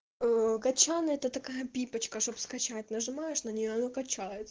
кочан это такая пипочка чтобы скачать нажимаешь на нее она качает